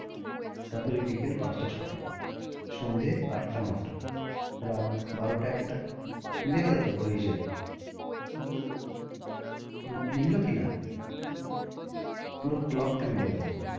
তারপরে বিকাল পাঁচটা ছ টা সন্ধে আটটা ন টা রাত বারোটা একটা মিলে গেলো তো পুরো হিসেব বুঝতে পারছি মিললো কি না? মিললো পুরো clock টা মিলে গেলো তোর।